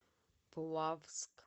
плавск